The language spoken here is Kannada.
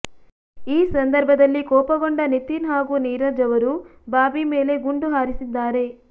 ಈ ಸಂದರ್ಭದಲ್ಲಿ ಕೋಪಗೊಂಡ ನಿತಿನ್ ಹಾಗೂ ನೀರಜ್ ಅವರು ಬಾಬ್ಬಿ ಮೇಲೆ ಗುಂಡು ಹಾರಿಸಿದ್ದಾರೆ